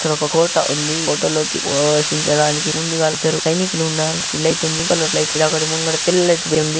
ఇక్కడ ఒక కోట ఉంది.కోటలో ప్రవేశించడానికి ముందుగా ఇద్దరు సైనికులు ఉన్నారు.ఈ లైట్ ఉంది పింక్ కలర్ లైట్ లో ముందుగా తెల్లటిది ఉంది.